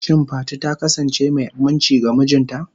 Shin Fati ta kasance mai aminci ga mijinta?